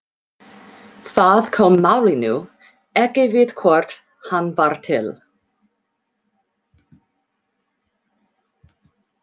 Það kom málinu ekki við hvort hann var til.